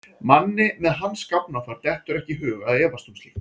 Manni með hans gáfnafar dettur ekki í hug að efast um slíkt.